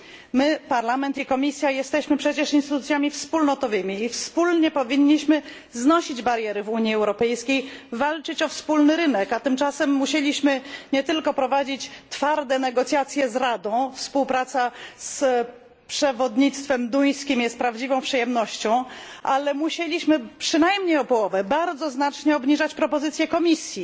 My, Parlament i Komisja, jesteśmy przecież instytucjami wspólnotowymi i wspólnie powinniśmy znosić bariery w Unii Europejskiej, walczyć o wspólny rynek, a tymczasem musieliśmy nie tylko prowadzić twarde negocjacje z Radą współpraca z przewodnictwem duńskim jest prawdziwą przyjemnością ale musieliśmy przynajmniej o połowę, bardzo znacznie obniżać propozycje Komisji.